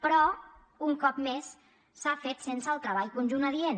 però un cop més s’ha fet sense el treball conjunt adient